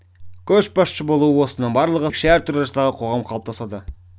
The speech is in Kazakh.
көшбасшы болу осының барлығы студенттің әлеуметтену кезеңі ерекше әртүрлі жастағы қоғам қалыптасады